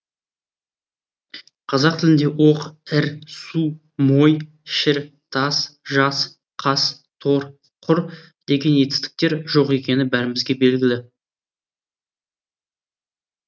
қазақ тілінде оқ ір су мой шір тас жас қас тор құр деген етістіктер жоқ екені бәрімізге белгілі